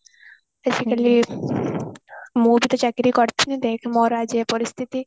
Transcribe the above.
ଆଜିକାଲି ମୁଁ ବି ତ ଚାକିରି କରିଥିଲି ଦେଖ ମୋର ଆଜି ଏ ପରିସ୍ଥିତି